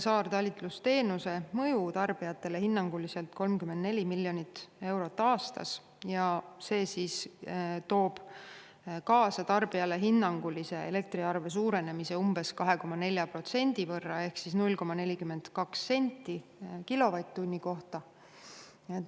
Saartalitlusteenuse mõju tarbijatele on hinnanguliselt 34 miljonit eurot aastas ja see toob tarbijale kaasa elektriarve suurenemise hinnanguliselt umbes 2,4% võrra ehk 0,42 senti kilovatt-tunni kohta.